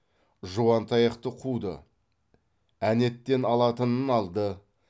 жуантаяқты қуды әнеттен алатынын алды